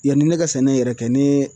Yanni ne ka sɛnɛ yɛrɛ kɛ ne ye